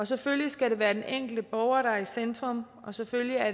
selvfølgelig skal det være den enkelte borger der er i centrum og selvfølgelig er